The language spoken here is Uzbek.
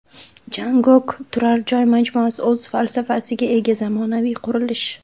Jangokh turar joy majmuasi o‘z falsafasiga ega zamonaviy qurilish.